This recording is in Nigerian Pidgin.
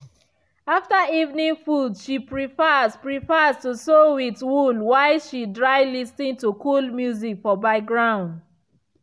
after evening food she prefers prefers to sew with wool while she dry lis ten to cule music for background.